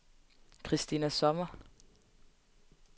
Christina Sommer